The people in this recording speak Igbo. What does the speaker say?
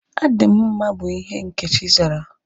Adị m mma bụ ihe Nkechi zara